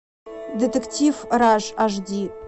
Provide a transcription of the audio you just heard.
детектив раш аш ди